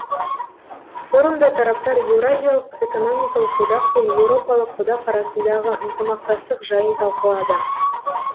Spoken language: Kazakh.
форумда тараптар еуразиялық экономикалық одақ пен еуропалық одақ арасындағы ынтымақтастық жайын талқылады